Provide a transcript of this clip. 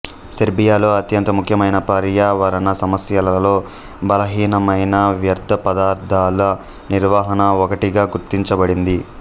సెర్బియాలో అత్యంత ముఖ్యమైన పర్యావరణ సమస్యలలో బలహీనమైన వ్యర్థ పదార్థాల నిర్వహణ ఒకటిగా గుర్తించబడింది